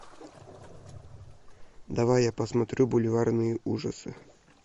давай я посмотрю бульварные ужасы